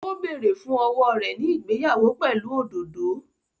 Ó bẹ̀rẹ̀ fún owó rẹ̀ ní ìgbéyàwó pẹ̀lú òdòdó